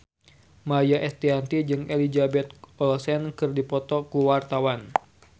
Maia Estianty jeung Elizabeth Olsen keur dipoto ku wartawan